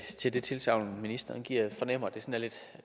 til det tilsagn ministeren giver jeg fornemmer at